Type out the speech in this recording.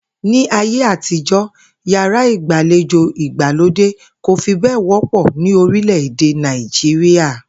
Ní ayé àtijó̩, yàrá ìgbàlejò ìgbàlódè kò fi bé̩è̩ wó̩pò̩ ní orílè̩-èdè Nàìjíríà